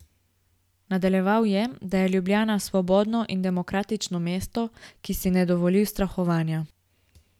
Nadaljeval je, da je Ljubljana svobodno in demokratično mesto, ki si ne dovoli ustrahovanja.